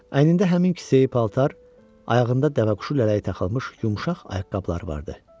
Əynində həmin kisəyi paltar, ayağında dəvəquşu lələyi taxılmış yumşaq ayaqqabıları vardı.